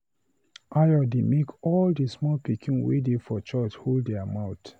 Ayo dey make all the small pikin wey dey for church hold their mouth